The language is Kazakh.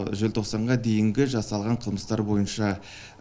желтоқсанға дейінгі жасалған қылмыстар бойынша